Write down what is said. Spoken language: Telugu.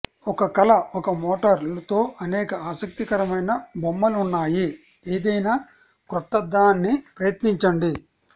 ఒక కల ఒక మోటార్ తో అనేక ఆసక్తికరమైన బొమ్మలు ఉన్నాయి ఏదైనా క్రొత్తదాన్ని ప్రయత్నించండి